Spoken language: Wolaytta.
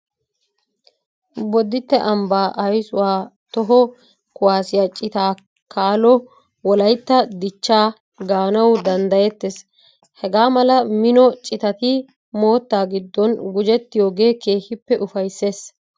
Bodditte ambbaa aysuwa toho kuwaasiya citaa kaalo wolaytta dichchaa gaanawu danddayettees. Hagaa mala mino citati moottaa giddon gujettiyogee keehippe ufayssees.